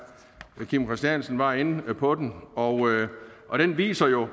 kim christiansen var inde på den og og den viser jo